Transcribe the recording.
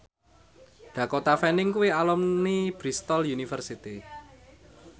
Dakota Fanning kuwi alumni Bristol university